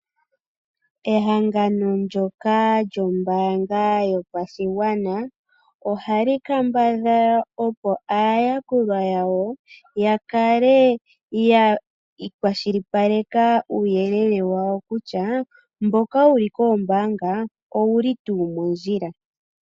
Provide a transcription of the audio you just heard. Ehangano ndoka lyombaanga yopashigwana ohali kambadhala, opo aayakulwa yawo ya kale ya kwashilipaleka uuyelele wawo kutya, mboka wuli koombaanga owuli tuu mondjila.